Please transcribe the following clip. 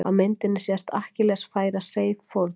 á myndinni sést akkilles færa seif fórn